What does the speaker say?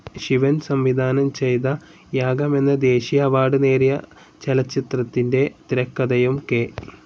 ശിവൻ സംവിധാനം ചെയ്ത യാഗം എന്ന ദേശീയ അവാർഡ്‌ നേടിയ ചലച്ചിത്രത്തിൻ്റെ തിരക്കഥയും കെ.